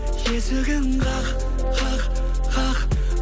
есігін қақ қақ қақ